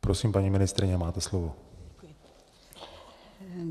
Prosím, paní ministryně, máte slovo.